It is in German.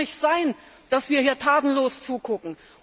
Es kann doch nicht sein, dass wir hier tatenlos zugucken.